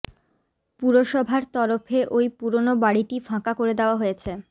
পুরসভার তরফে ওই পুরোনো বাড়িটি ফাঁকা করে দেওয়া হয়েছে